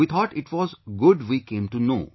We thought it was good we came to know